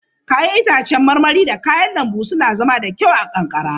Ya'yan itacen marmari da kayan lambu suna zama da kyau a kankara.